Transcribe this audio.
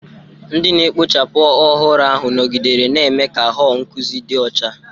Ndị na-ekpochapụ ọhụrụ ahụ nọgidere na-eme ka họl nkụzi dị ọcha.